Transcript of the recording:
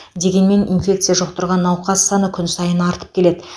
дегенмен инфекция жұқтырған науқас саны күн сайын артып келеді